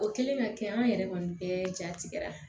O kɛlen ka kɛ an yɛrɛ man bɛɛ ja tigɛ